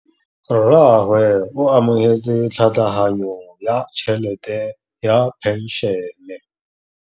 Rragwe o amogetse tlhatlhaganyô ya tšhelête ya phenšene.